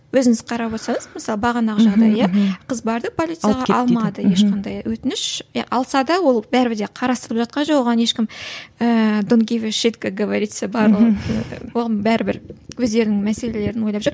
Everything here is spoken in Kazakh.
өзіңіз қарап отырсаңыз мысалы бағанағы жағдай иә қыз барды полицияға алмады ешқандай өтініш иә алса да ол бәрібір де қарастырылып жатқан жоқ оған ешкім говорится барлығы оған бәрібір өздерінің мәселелерін ойлап жүр